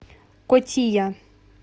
котия